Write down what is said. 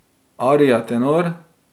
Arija tenor.